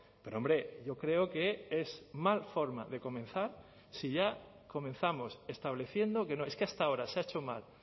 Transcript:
pero hombre yo creo que es mal forma de comenzar si ya comenzamos estableciendo que no es que hasta ahora se ha hecho mal